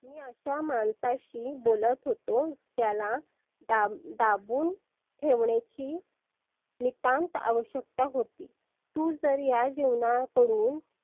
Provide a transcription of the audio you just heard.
मी अशा माणसाशी बोलत होतो त्याला दा दाबुन ठेवण्याची नितांत आवश्यकता होती. तु तर या जीवनाकडून